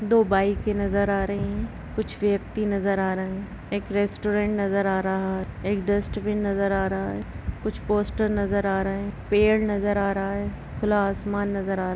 दो बाइकें नजर आ रही है कुछ व्यक्ति नजर आ रहे हैं एक रेस्टोरेंट नजर आ रहा है एक डस्‍टबिन नजर आ रहा है कुछ पोस्टर नजर आ रहा है पेड़ नजर आ रहा है खुला आसमान नजर आ रहा --